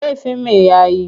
Laifin me ya yi?